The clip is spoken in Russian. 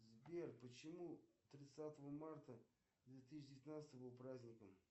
сбер почему тридцатого марта две тысячи девятнадцатого был праздником